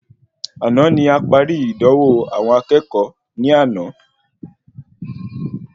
Àna ní aparí ìdánwò àwọn akẹ́kọ̀ọ́ ní àna